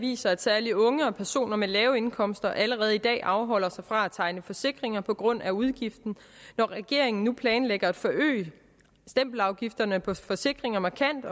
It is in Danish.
viser at særlig unge og personer med lave indkomster allerede i dag afholder sig fra at tegne forsikringer på grund af udgiften når regeringen nu planlægger at forøge stempelafgifterne på forsikringer markant